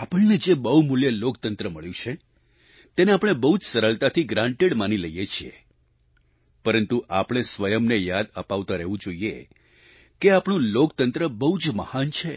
આપણને જે બહુમૂલ્ય લોકતંત્ર મળ્યું છે તેને આપણે બહુ જ સરળતાથી ગ્રાન્ટેડ માની લઈએ છીએ પરંતુ આપણે સ્વયં એ યાદ અપાવતા રહેવું જોઈએ કે આપણું લોકતંત્ર બહુ જ મહાન છે